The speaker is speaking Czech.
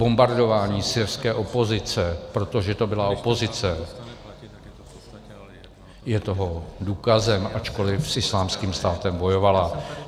Bombardování syrské opozice, protože to byla opozice, je toho důkazem, ačkoliv s Islámským státem bojovala.